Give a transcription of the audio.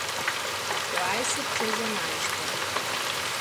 Dvajset čez enajsto.